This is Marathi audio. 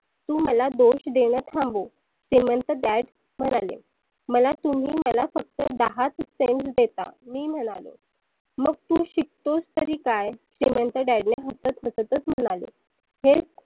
तु मला दोष देन थांबव श्रिमंंत Dad म्हणाले. मला तुम्ही मला फक्त दहाच cent देता मी म्हणालो. मग तु शिकतोस तरी काय? श्रिमंत Dad हसत हसतच म्हणाले. हे